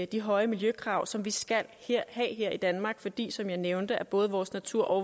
de høje miljøkrav som vi skal have i danmark fordi som jeg nævnte både vores natur og